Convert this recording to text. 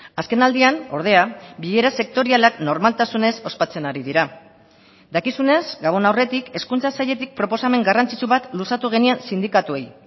azkenaldian ordea bilera sektorialak normaltasunez ospatzen ari dira dakizunez gabon aurretik hezkuntza sailetik proposamen garrantzitsu bat luzatu genien sindikatuei